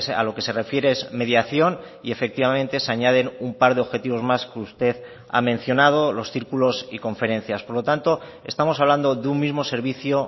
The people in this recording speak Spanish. a lo que se refiere es mediación y efectivamente se añaden un par de objetivos más que usted ha mencionado los círculos y conferencias por lo tanto estamos hablando de un mismo servicio